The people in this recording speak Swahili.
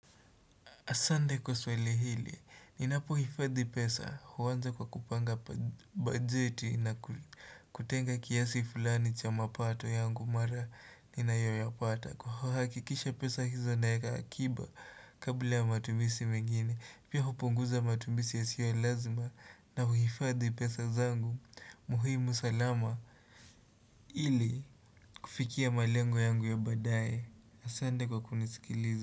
Asante kwa swali hili, ninapohifadhi pesa huanza kwa kupanga bajeti na kutenga kiasi fulani cha mapato yangu mara ninayoyapata. Kuhakikisha pesa hizo nayaweka akiba kabla ya matumizi mingine, pia hupunguza matumisi yasiyo ya lazima na kuhifadhi pesa zangu muhimu salama ili kufikia malengo yangu ya baadaye. Asante kwa kunisikilizi.